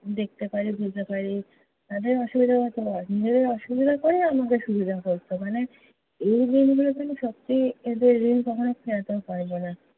দেখতে পারি, বুঝতে পারি। তাদের অসুবিধা হচ্ছে হোক নিজেদের অসুবিধা করেও আমাকে সুবিধা করতো। মানে এই ঋণগুলোতো আমি সত্যি, এদের ঋণ কখনও ফেলতেও পারবো না।